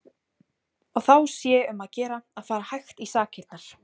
Og þá sé um að gera að fara hægt í sakirnar.